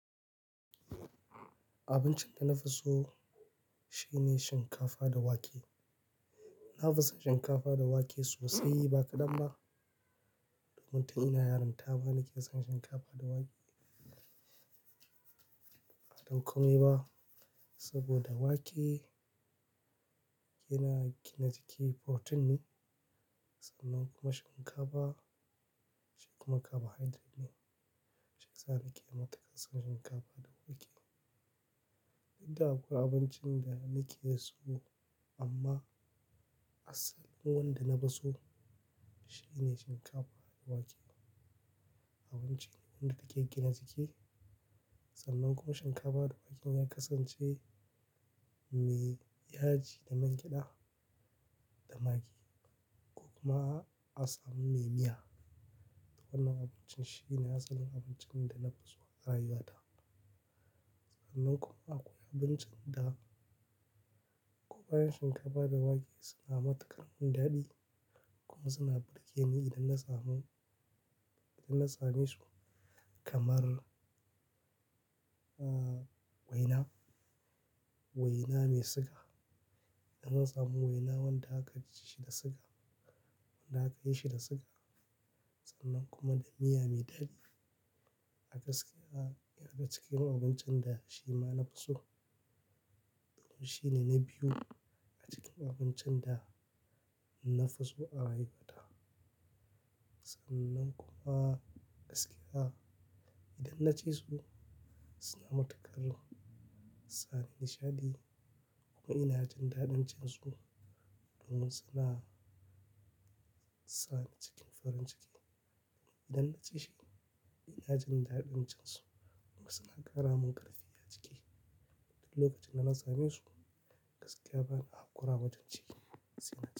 Abincin da na fi so shine shinkafa da wake. Na fi son shinkafa da wake sosai ba ƙadan ba, domin tun ina yarinta ma na ke son shinkafa da wake. Ba dan komai ba, saboda wake yana gina jiki protein ne. Sannan kuma shinkafa, shi kuma carbohydrate ne. Shiyasa nake matukar son shinkafa da wake. Da kuwa abincin da nake so amma asalin wanda na fi so shine shinkafa da wake. Abincin wanda take gina jiki sannan kuma shinkafa da wake ya kasance mai yaji da man gyada da magi kuma asamun mai miya. Wannan abincin shine asalin abincin da na fi so a rayuwata. Sannan kuma akwai abincin da ko bayan shinkafa da wake suna matuƙar mun dadi kuma suna burge ni idan na samu, idan na same su kamar, waina, waina mai siga. Idan na samu waina wanda aka chi shi da siga, wanda aka yi shi da siga sannan kuma da miya mai dadi. A gaske yan daga cikin abincin da shi ma na fi so. Domin shi ne na biyu a cikin abincin da na fi so a rayuwata. Sannan kuma gaskiya idan na ci su suna matuƙar sa ni nishaɗi kuma ina jin daɗin cin su domin suna sa ni cikin farin ciki. Idan na ci shi ina jin daɗin cin su kuma suna ƙara mun ƙarfi a jiki. Duk lokacin da na same su gaskiya bana haƙura wajen ci nsy.